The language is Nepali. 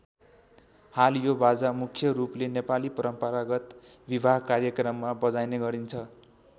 हाल यो बाजा मुख्य रूपले नेपाली परम्परागत विवाह कार्यक्रममा बजाइने गरिन्छ।